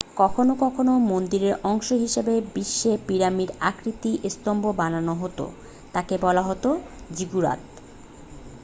কখনো কখনো মন্দিরের অংশ হিসেবে বিশেষ পিরামিড আকৃতির স্তম্ভ বানানো হতো তাকে বলা হতো জিগুরাত